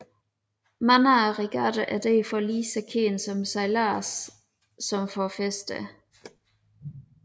Mange af regattaerne er derfor lige så kendte for sejladsen som for festerne